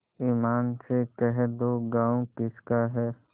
ईमान से कह दो गॉँव किसका है